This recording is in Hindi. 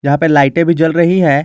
यहां पे लाइटें भी जल रही है।